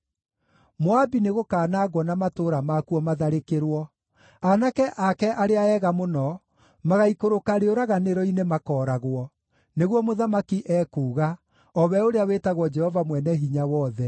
Moabi nĩgũkanangwo na matũũra makuo matharĩkĩrwo; aanake ake arĩa ega mũno magaikũrũka rĩũraganĩro-inĩ makooragwo,” nĩguo Mũthamaki ekuuga, o we ũrĩa wĩtagwo Jehova Mwene-Hinya-Wothe.